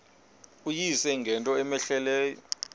uyise ngento cmehleleyo